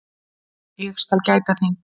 Ég skal gæta þín.